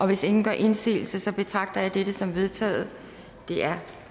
hvis ingen gør indsigelse betragter jeg dette som vedtaget det er